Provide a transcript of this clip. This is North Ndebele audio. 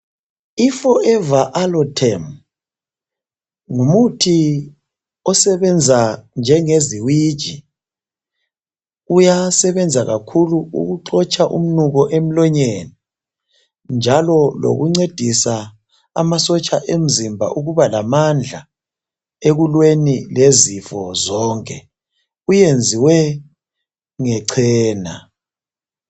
I Forever aloe term ngumuthi osebenza njengeziwiji. Uyasebenza kakhulu ukuxotsha umnuko emlonyeni njalo lokuncedisa amasotsha emzimba ukuba lamandla ekulweni lezifo zonke uyenziwe ngecena